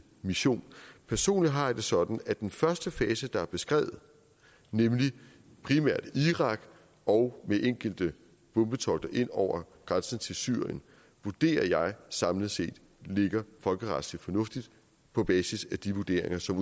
mission personligt har jeg det sådan at den første fase der er beskrevet nemlig primært irak og ved enkelte bombetogter ind over grænsen til syrien vurderer jeg samlet set ligger folkeretsligt fornuftigt på basis af de vurderinger som